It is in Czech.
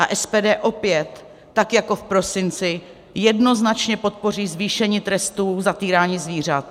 A SPD opět, tak jako v prosinci, jednoznačně podpoří zvýšení trestů za týrání zvířat.